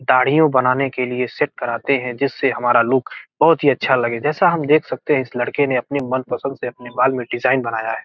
दाढ़ियों बनाने के लिए सेट कराते हैं जिससे हमारा लुक बहुत ही अच्छा लगे जैसा हम देख सकते हैं इस लड़के ने अपने मन पसंद से अपने बाल में डिजाइन बनाया है।